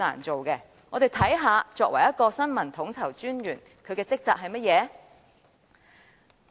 且讓我們看看新聞統籌專員的職責是甚麼。